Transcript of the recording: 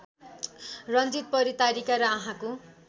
रन्जित परितारिका र आँखाको